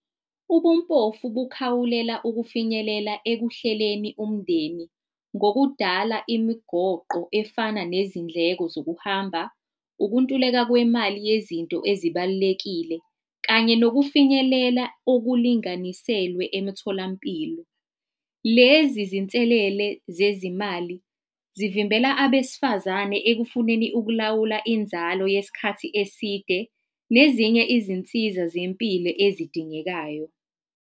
Ubumpofu kukhawulela ukufinyelela ekuhleleni umndeni ngokudala imigoqo efana nezindleko zokuhamba, ukuntuleka kwemali yezinto ezibalulekile kanye nokufinyelela okulunganiselwe emitholampilo. Lezi zinselele zezimali zivimbela abesifazane ekufuneni ukulawula inzalo yesikhathi eside nezinye izinsiza zempilo ezidingekayo.